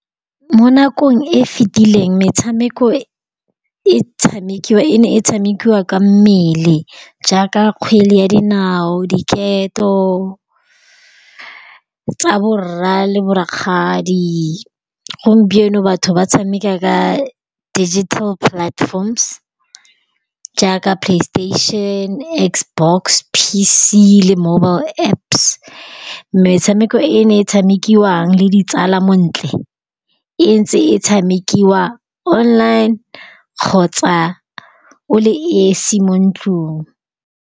Mo nakong e e fetileng metshameko e ne e tshamekiwa ka mmele jaaka kgwele ya dinao, diketo tsa borra le bo rakgadi. Gompieno batho ba tshameka ka digital platforms jaaka PlayStation, Xbox, P_C le mobile Apps. Metshameko e e ne e tshamekiwang le ditsala montle, e ntse e tshamekiwa online kgotsa o le esi mo ntlong.